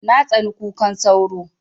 Na tsani kukan sauro